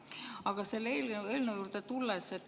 Aga tulen selle eelnõu juurde.